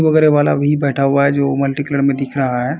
वगेरा वाला भी बैठा हुआ है जो मल्टीकलर में दिख रहा है।